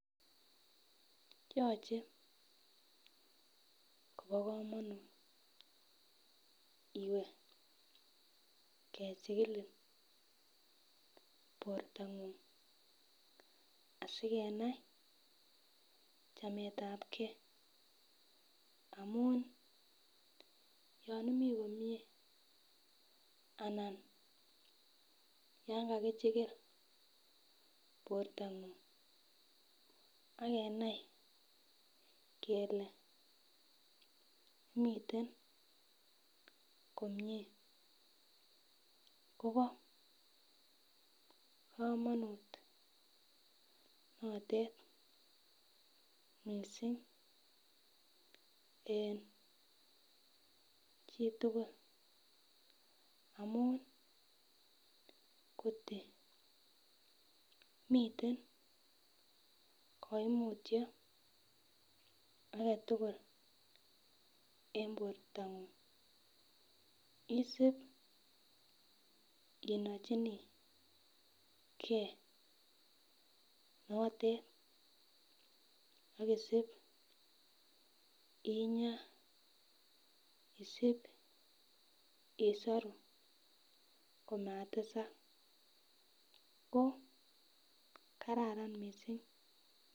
Yoche kobokomonut iwe kechiligin bortangung asikenai chametabgee amun yon imii komyee anan yan kakichigil bortang'ung akenai kole miteen komyee kobo kamanut notete missing en chitugul, amun ngot miten koimutyo agetugul en bortang'ung isip inochinigee notet ak isip inyaa isip isoru komatesak ko karan missing.